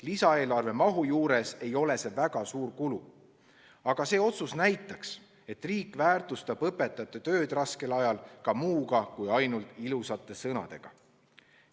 Lisaeelarve mahu juures ei ole see väga suur kulu, aga see otsus näitaks, et riik väärtustab õpetajate tööd raskel ajal ka muuga kui ainult ilusate sõnadega.